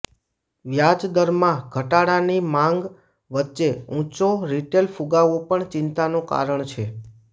વ્યાજદરમાં ઘટાડાની માગ વચ્ચે ઊંચો રિટેલ ફુગાવો પણ ચિંતાનું કારણ છે